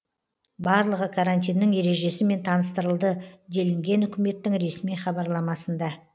барлығы карантиннің ережесімен таныстырылды делінген үкіметтің ресми хабарламасында